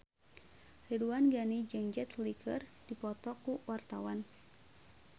Ridwan Ghani jeung Jet Li keur dipoto ku wartawan